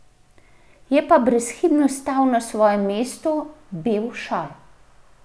Je pa brezhibno stal na svojem mestu bel šal.